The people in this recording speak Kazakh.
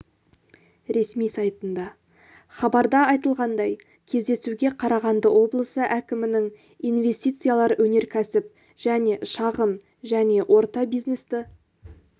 ресми сайтында хабарда айтылғандай кездесуге қарағанды облысы әкімінің инвестициялар өнеркәсіп және шағын және орта бизнесті